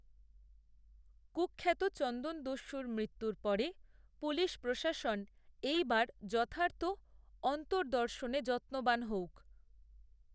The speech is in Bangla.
কূখ্যাত চন্দনদস্যুর মৃত্যুর পরে পুলিশপ্রশাসন এই বার যথার্থ অন্তদর্র্শনে যত্নবান হউক